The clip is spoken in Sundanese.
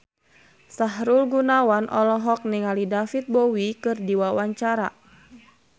Sahrul Gunawan olohok ningali David Bowie keur diwawancara